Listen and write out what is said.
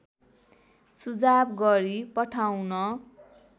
सुझाव गरी पठाउन